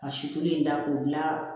Ka si tolen da k'o bila